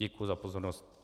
Děkuji za pozornost.